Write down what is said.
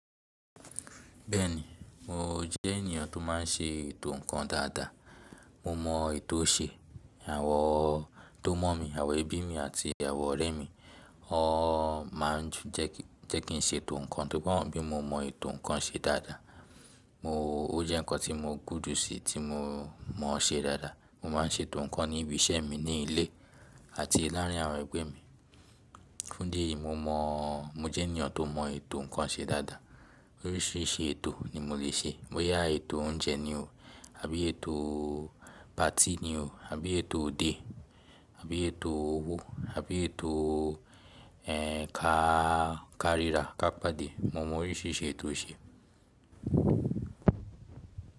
Bẹ́ẹ̀ni, mo jẹ́ ènìyàn tó má n ṣe ètò nǹkan dáadáa. Mo mọ ètò ṣe. Àwọn tó mọ̀ mí, àwọn ẹbí mi àti àwọn ọ̀rẹ́ mi, wọ́n má n jẹ́ kín ṣe ètò nǹkan torí wọ́n mọ̀ bí mo mọ ètò nǹkan ṣe dáadáa. Mo ó jẹ́ nǹkan tí mo gùdù sí tí mo mọ ṣe dáadáa. Mo má n ṣe ètò nǹkan ní ibi iṣẹ́ mi ní ilé àti láàárin àwọn ẹgbẹ́ mi. Fún ídì eyi, mo mọ̀ mo jẹ́ ènìyàn tó mọ ètò nǹkan ṣe dáadáa. Oríṣiríṣi ètò ni mo lè ṣe. Ó yá ètò oúnjẹ ni o, àbí ètò party ni o, àbí ètò òde, àbí ètò owó, àbí ètò, ẹ́ń, káàrira ká pàdé. Mo mọ oríṣiríṣi ètò ṣe.